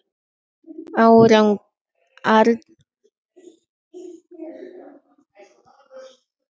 Arngunnur, pantaðu tíma í klippingu á föstudaginn.